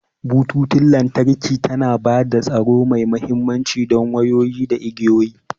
Bututun lantarki tana ba da tsaro mai aminci don wayoyi da igiyoyi.